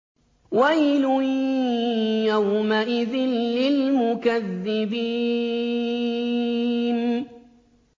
وَيْلٌ يَوْمَئِذٍ لِّلْمُكَذِّبِينَ